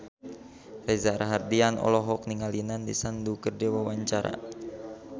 Reza Rahardian olohok ningali Nandish Sandhu keur diwawancara